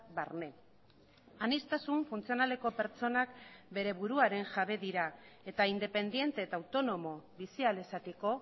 barne aniztasun funtzionaleko pertsonak bere buruaren jabe dira eta independente eta autonomo bizi ahal izateko